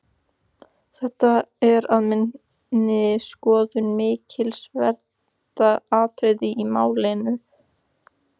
Þetta er að minni skoðun mikilsverðasta atriðið í málinu.